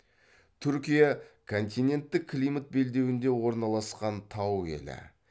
түркия континентік климат белдеуінде орналасқан тау елі